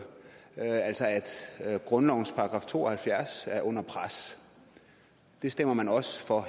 altså at grundlovens § to og halvfjerds er under pres det stemmer man også for